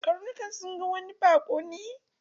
Karnukan sun ga wani baƙo ne.